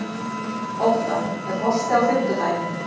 Ótta, er bolti á fimmtudaginn?